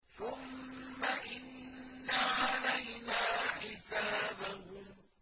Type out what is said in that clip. ثُمَّ إِنَّ عَلَيْنَا حِسَابَهُم